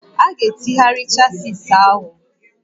A ga-etegharị chasis ahụ